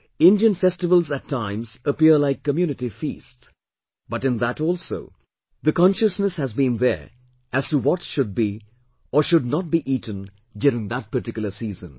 Indian festivals at times appear like community feasts but in that also the consciousness has been to there as to what should be or should not be eaten during that particular season